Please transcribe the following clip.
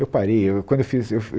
Eu parei eu quando eu fiz eu